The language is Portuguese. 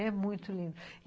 É muito lindo.